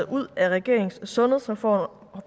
ud af regeringens sundhedsreform